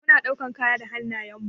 Mu na ɗaukan kaya da hannayen mu.